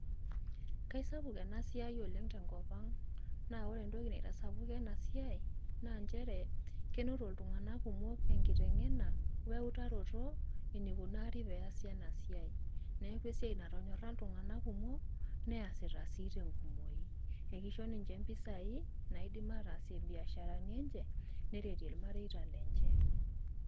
Kaisapuk ena siai oleng te nkop ang. Naa ore entoki naitasapuka ena siai naa nchere kenoto iltung`anak kumok enkiteng`ena o ewutaroto enaikunari peyie eyasi ena siai. Niaku esiai natonyorra iltung`anak kumok neasita sii te nkumoi. Ekisho ninche mpisai naidim ataasie im`biasharani enye neretie ilmareita lenche.